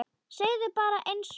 Segðu bara einsog er.